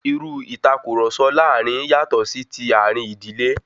Irú ìtàkurọ̀sọ láàrin yatọ sí ti àárín ìdílé.